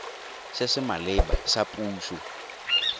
se se maleba sa puso